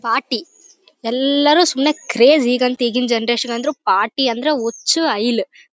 party ಎಲ್ಲಾರು ಸುಮ್ನೆ craze ಈಗಂತೂ ಈಗಿನ ಜನರೇಷನ್ ಅಂದ್ರು ಪಾರ್ಟಿ ಅಂದ್ರೆ ಹುಚ್ಚ್ ಹೈಲು --